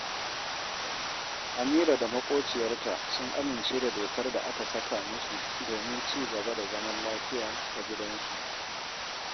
Amira da maƙociyarta sun amince da dokar da aka saka musu domin ci gaba da zaman lafiya a gidansu